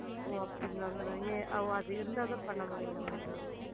ஓ அப்படிங்களா mam ஏ ஓ அது இருந்தா தான் பண்ண முடியுமா mam